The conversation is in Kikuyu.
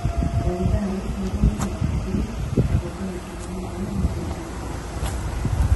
Ndagĩtarĩ mathũrimaga hakiri na gũika gĩthimo nĩguo mathuthurie kĩbaba.